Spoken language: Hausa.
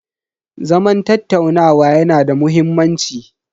Zaman tattaunawa yanada muhimmanci.